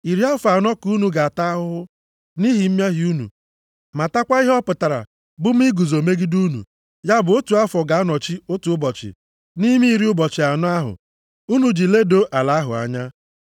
Iri afọ anọ ka unu ga-ata ahụhụ nʼihi mmehie unu, matakwa ihe ọ pụtara bụ mụ iguzo megide unu, ya bụ otu afọ ga-anọchi otu ụbọchị nʼime iri ụbọchị anọ ahụ unu ji ledoo ala ahụ anya.